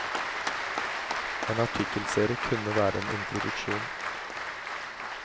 En artikkelserie kunne være en introduksjon.